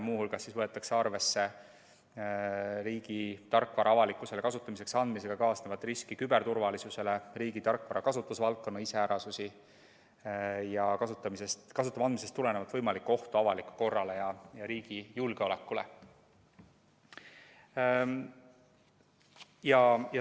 Muu hulgas võetakse arvesse riigi tarkvara avalikkusele kasutamiseks andmisega kaasnevat küberturvalisuse riski, riigi tarkvara kasutusvaldkonna iseärasusi ja kasutada andmisest tulenevat võimalikku ohtu avalikule korrale ja riigi julgeolekule.